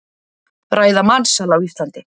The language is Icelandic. Ræða mansal á Íslandi